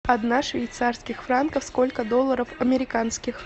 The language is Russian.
одна швейцарских франков сколько долларов американских